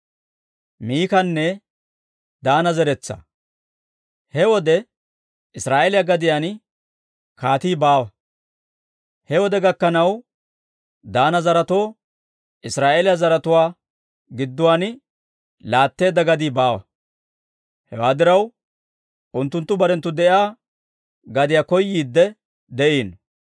He wode Israa'eeliyaa gadiyaan kaatii baawa. He wode gakkanaw Daana zaretoo Israa'eeliyaa zaratuwaa gidduwaan laatteedda gadii baawa. Hewaa diraw, unttunttu barenttu de'iyaa gadiyaa koyiidde de'iino.